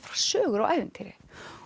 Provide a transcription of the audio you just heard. sögur og ævintýri